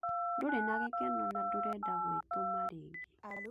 Ndũrĩ na gĩkeno na ndũrenda gwĩtũma rĩngĩ